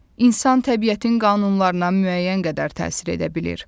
İnsan təbiətin qanunlarına müəyyən qədər təsir edə bilir.